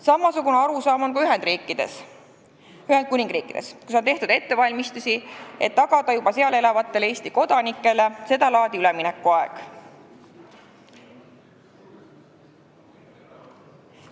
Samasugune arusaam on ka Ühendkuningriigis, kus on tehtud ettevalmistusi, et tagada juba seal elavatele Eesti kodanikele sedalaadi üleminekuaeg.